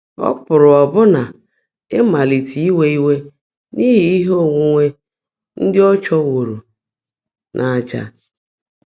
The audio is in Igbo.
Ọ́ pụ́rụ́ ọ́bụ́ná ị́máliité íwé íwé n’íhí íhe óńwúńwé ndị́ ọ́ chụ́wóró n’àjà̀.